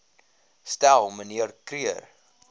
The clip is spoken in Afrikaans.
stel mnr kruger